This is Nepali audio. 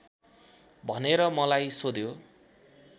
भनेर मलाई सोध्यो